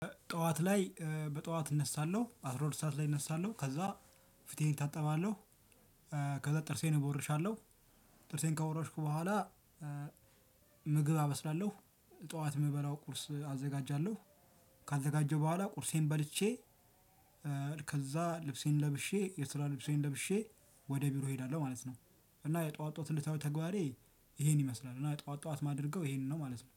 ጠዋት ላይ በጠዋት እነሳለሁ አስራ ሁለት ሰዓት ላይ እነሳለሁ ከዛ ፊቴን እታጠባለሁ። ከዛ ጥርሴን እቦርሻለሁ። ጥርሴን ከቦረሽኩ በኋላ። ምግብ አበስላለሁ። ጠዋት የምበላው ቁርስ አዘጋጃለሁ። ካዘጋጀው በኋላ ቁርሴን በልቼ። ከዛ ልብሴን ለብሼ የስራ ልብሴን ለብሼ ወደ ቢሮ እሄዳለሁ ማለት ነው። እና የጠዋት ጠዋት እለታዊ ተግባሬ ይሄን ይመስላል እና ጠዋት ጠዋት የማደርገው ይሄንን ነው ማለት ነው